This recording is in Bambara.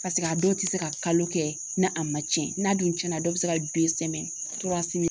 a dɔw tɛ se ka kalo kɛ n'a ma tiɲɛ n'a dun tiɲɛna dɔw bɛ se ka den sɛgɛn